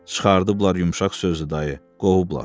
Çıxarıblar yumşaq sözdü dayı, qovublar.